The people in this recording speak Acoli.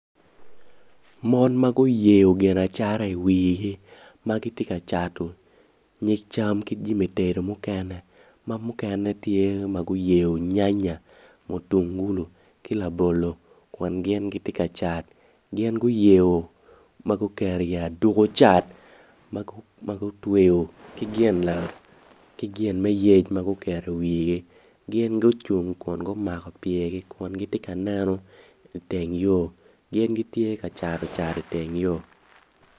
Mon ma guyeyo gin acata iwigi ma gitye ka cato nyig cam ki jami tedo mukene ma mukene tye ma guyeyo nyanya, mutungulo ki labolo kun gin gitye ka cat gin guyeyo ma guketo iyi aduko cat ma gutweyo ki gin me yec ma guketo iwigi gin gucung kun gumako pyergi kun gitye ka neno iteng yo gin gitye ka cato cat iteng yo.